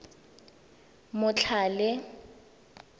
motlhale